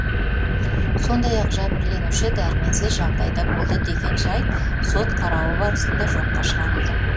сондай ақ жәбірленуші дәрменсіз жағдайда болды деген жайт сот қарауы барысында жоққа шығарылды